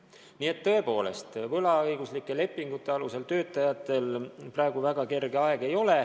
Nii et tõepoolest võlaõiguslike lepingute alusel töötajatel praegu kerge aeg ei ole.